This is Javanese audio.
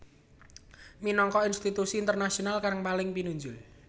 minangka institusi internasional kang paling pinunjul